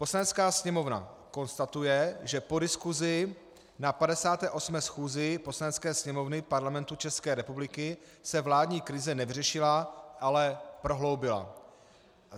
Poslanecká sněmovna konstatuje, že po diskusi na 58. schůzi Poslanecké sněmovny Parlamentu České republiky se vládní krize nevyřešila, ale prohloubila;